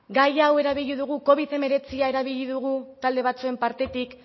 gai hau erabili dugu covid hemeretzia erabili dugu talde batzuen partetik